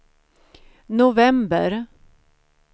november